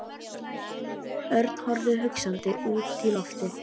Örn horfði hugsandi út í loftið.